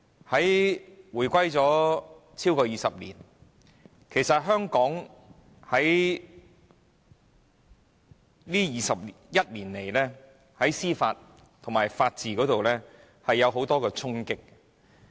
香港已回歸超過20年，在這21年來，香港在司法和法治方面受到很多衝擊。